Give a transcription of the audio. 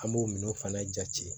An b'o minɛnw fana jate